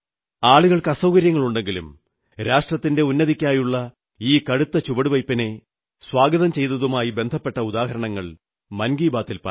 ആളുകൾക്ക് അസൌകര്യങ്ങളുണ്ടെങ്കിലും രാഷ്ട്രത്തിന്റെ ഉന്നതിക്കായുള്ള ഈ കടുത്ത ചുവടുവയ്പ്പിനെ സ്വാഗതം ചെയ്തതുമായി ബന്ധപ്പെട്ട ഉദാഹരണങ്ങൾ മൻ കീ ബാതിൽ പറയണം